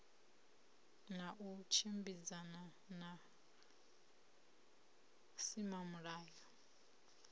na u tshimbidzana na vhusimamilayo